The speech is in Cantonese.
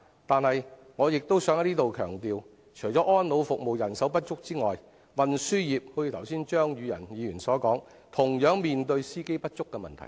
但是，我亦想在此強調，除了安老服務人手不足外，運輸業——正如張宇人議員剛才所說——同樣面對司機不足的問題。